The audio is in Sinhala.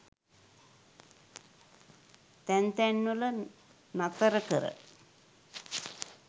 තැන් තැන්වල නතර කර